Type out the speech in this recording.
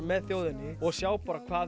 með þjóðinni og sjá hvað